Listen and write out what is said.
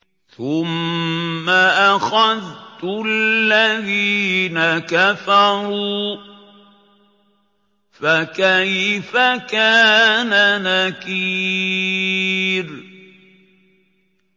ثُمَّ أَخَذْتُ الَّذِينَ كَفَرُوا ۖ فَكَيْفَ كَانَ نَكِيرِ